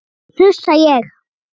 hnussa ég.